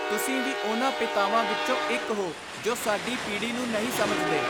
ਤੁਸੀਂ ਵੀ ਉਨ੍ਹਾਂ ਪਿਤਾਵਾਂ ਵਿੱਚੋਂ ਇੱਕ ਹੋ ਜੋ ਸਾਡੀ ਪੀੜੀ ਨੂੰ ਨਹੀਂ ਸਮਝਦੇ।